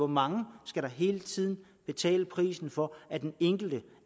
mange skal hele tiden betale prisen for at den enkelte